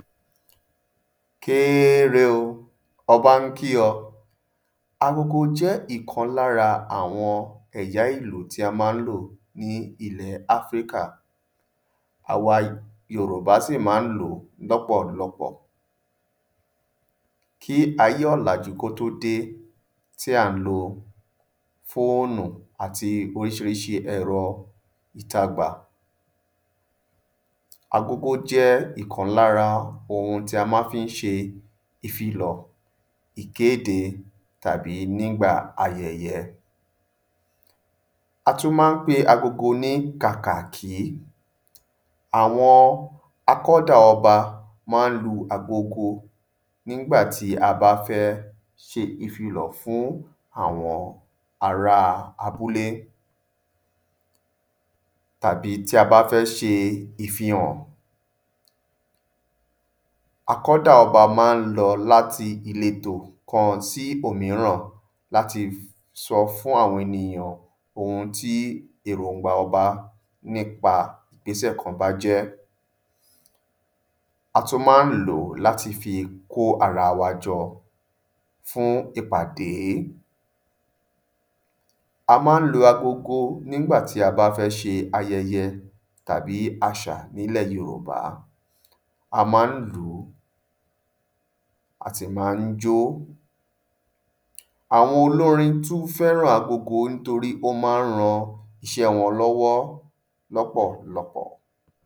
Kéére o, ọba ń kí ọ agógó jẹ́ ìkan lára àwọn ẹ̀yà èlò tí a ma ń lò ní ilẹ̀ áfíríkà àwa yorùbá si ma n lòó lọ́pọ̀lọpọ̀ kí ayé òlàjú kó tó dé, tí à ń lo fóònù àti orísirísi ẹ̀rọ ìtagbà agógó jẹ́ ìkan lára ohun tí a ma fi ń ṣe ìfilọ̀, ìkéde tàbí nígba ayẹyẹ a tún ma ń pe agogo ní kàkàkí, àwọn akọ́dà ọba ma ń lo agogo nígbàtí a bá fẹ́ ṣe ìfilọ̀ fún àwọn ará abúlé tàbí tí a bá fẹ́ ṣe ìfihàn akọ́dà ọba ma ń lọ láti ìletò kan sí òmíràn láti sọ fún àwọn ènìyàn ohun tí èròǹgbà ọba nípa ìgbésẹ̀ kan bá jẹ́ a tún ma ń lòó láti fi kó ara wa jọ́ fún ìpàdé a ma ń lo agogo nígbà tí a bá fẹ́ ṣe ayẹyẹ tàbí àṣà nílẹ yorùbá a ma ń lòó a sì mà ń jó. Àwọn olórin tún fẹ́ran agogo nítorí ó ma ń ran iṣẹ́ wọn lọ́wọ́ lọ́pọ̀lọpọ̀